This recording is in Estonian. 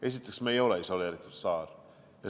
Aga me ei ole isoleeritud saar.